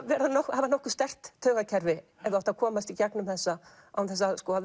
hafa nokkuð sterkt taugakerfi ef þú átt að komast í gegnum þessa án þess að